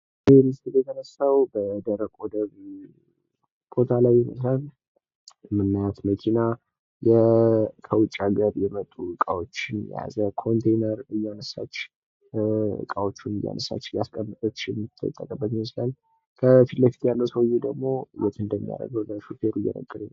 የተሻሻለ መሰረተ ልማት የንግድ እንቅስቃሴን በማቀላጠፍና የኢኮኖሚ እድገትን በማፋጠን ወሳኝ ሚና ይጫወታል።